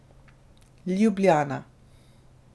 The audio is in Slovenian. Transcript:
Ljubljana.